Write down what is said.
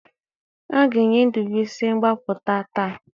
A ga-enye Ndubisi mgbapụta taa